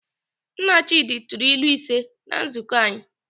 Nna Chidi tụrụ ilu ise na nzukọ anyị.